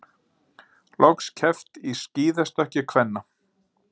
Loks keppt í skíðastökki kvenna